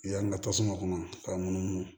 Yan ka tasuma kɔnɔ k'a munumunu